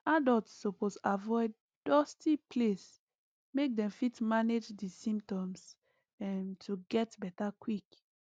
adults suppose avoid dusty place make dem fit manage di symptoms um to get beta quick